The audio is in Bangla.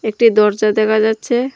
একটি দরজা দেখা যাচ্ছে।